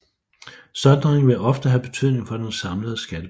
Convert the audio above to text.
Sondringen vil ofte have betydning for den samlede skattebetaling